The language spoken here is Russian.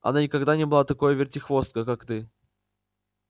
она никогда не была такой вертихвосткой как ты